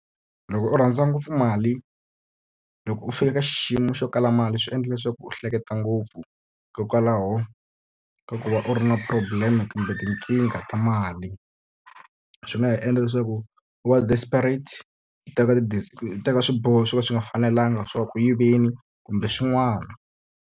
Loko u rhandza ngopfu mali, loko u fika ka xiyimo xo kala mali swi endla leswaku u hleketa ngopfu. Hikokwalaho ka ku va u ri na problem-e kumbe tikingha ta mali, swi nga ha endla leswaku wa desperate, u teka u teka swiboho swo ka swi nga fanelanga swa ku ya ku yiveni kumbe swin'wana.